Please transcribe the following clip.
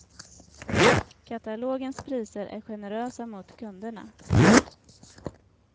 Katalogens priser är generösa mot kunderna.